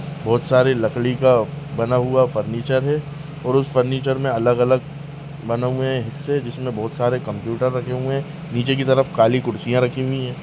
बहोत सारे लकड़ी का बना हुआ फर्निचर है और उस फर्निचर मे अलग अलग बने हुए हिस्से हैं जिसमे बहोत सारे कंप्युटर रखे हुए हैं नीचे के तरफ काली कुर्सियां रखी हुई हैं।